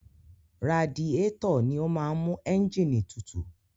Radiétọ̀ ni ó máa ń mú ẹ́ǹgìnì tutù.